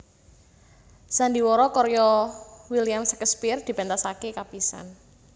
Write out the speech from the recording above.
Sandiwara karya William Shakespeare dipentasake kapisan